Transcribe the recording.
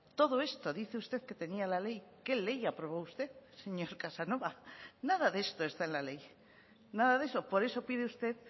todo esto dice usted que tenía la ley qué ley aprobó usted señor casanova nada de esto está en la ley nada de eso por eso pide usted